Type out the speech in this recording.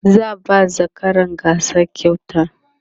za'a ba zakaran gasa kyauta